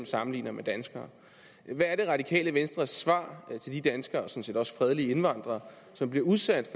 sammenligner med danskere hvad er det radikale venstres svar til de danskere og sådan set også fredelige indvandrere som bliver udsat